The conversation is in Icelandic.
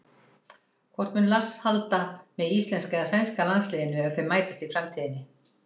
Hvort mun Lars halda með íslenska eða sænska landsliðinu ef þau mætast í framtíðinni?